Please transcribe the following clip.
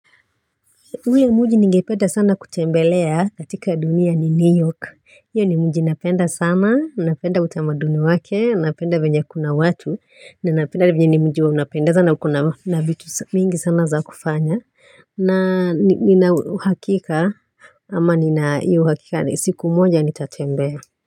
Hui muji ningeipenda sana kutembelea katika dunia ni New York. Hio ni mji napenda sana, napenda utamaduni wake, napenda venya kuna watu. Ninapenda venya ni mji unapendenza sana ukona na vitu mingi sana za kufanya. Na nina uhakika ama nina hio uhakika siku moja nitatembea.